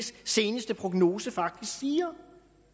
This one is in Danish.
seneste prognose faktisk siger